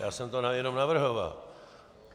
Já jsem to jenom navrhoval.